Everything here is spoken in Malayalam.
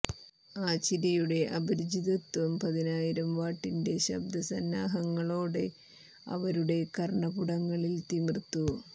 ആ ചിരിയുടെ അപരിചിതത്വം പതിനായിരം വാട്ടിന്റെ ശബ്ദ സന്നാഹങ്ങളോടെ അവരുടെ കർണ്ണപുടങ്ങളിൽ തിമിർത്തു